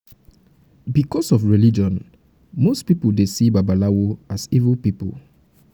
because of religion most pipo dey see dey see babalawo as evil pipo